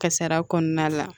Kasara kɔnɔna la